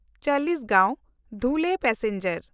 Chalisgaon Dhule passenger